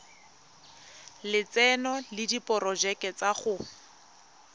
lotseno le diporojeke tsa go